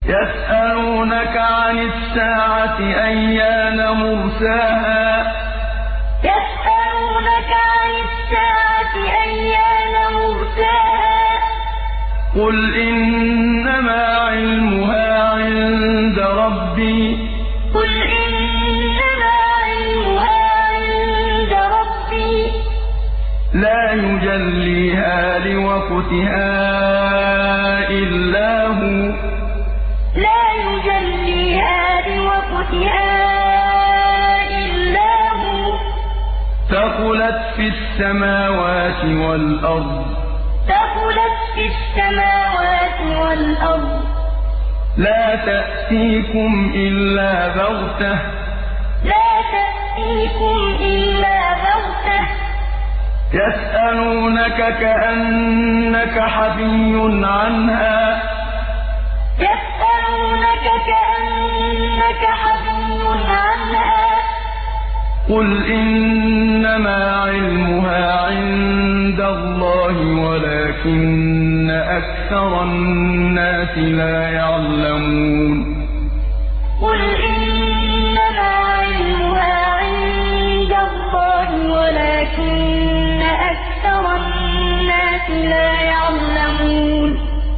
يَسْأَلُونَكَ عَنِ السَّاعَةِ أَيَّانَ مُرْسَاهَا ۖ قُلْ إِنَّمَا عِلْمُهَا عِندَ رَبِّي ۖ لَا يُجَلِّيهَا لِوَقْتِهَا إِلَّا هُوَ ۚ ثَقُلَتْ فِي السَّمَاوَاتِ وَالْأَرْضِ ۚ لَا تَأْتِيكُمْ إِلَّا بَغْتَةً ۗ يَسْأَلُونَكَ كَأَنَّكَ حَفِيٌّ عَنْهَا ۖ قُلْ إِنَّمَا عِلْمُهَا عِندَ اللَّهِ وَلَٰكِنَّ أَكْثَرَ النَّاسِ لَا يَعْلَمُونَ يَسْأَلُونَكَ عَنِ السَّاعَةِ أَيَّانَ مُرْسَاهَا ۖ قُلْ إِنَّمَا عِلْمُهَا عِندَ رَبِّي ۖ لَا يُجَلِّيهَا لِوَقْتِهَا إِلَّا هُوَ ۚ ثَقُلَتْ فِي السَّمَاوَاتِ وَالْأَرْضِ ۚ لَا تَأْتِيكُمْ إِلَّا بَغْتَةً ۗ يَسْأَلُونَكَ كَأَنَّكَ حَفِيٌّ عَنْهَا ۖ قُلْ إِنَّمَا عِلْمُهَا عِندَ اللَّهِ وَلَٰكِنَّ أَكْثَرَ النَّاسِ لَا يَعْلَمُونَ